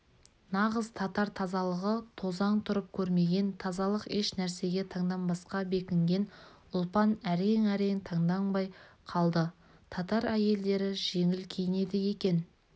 нағыз татар тазалығы тозаң тұрып көрмеген тазалық еш нәрсеге таңданбасқа бекінген ұлпан әрең-әрең таңданбай қалды татар әйелдері жеңіл киінеді екен